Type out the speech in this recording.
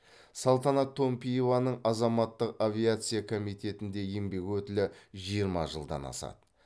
салтанат томпиеваның азаматтық авиация комитетінде еңбек өтілі жиырма жылдан асады